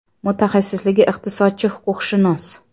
Mutaxassisligi iqtisodchi, huquqshunos.